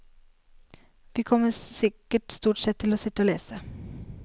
Vi kommer sikkert stort sett til å sitte og lese.